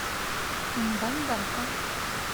мбандака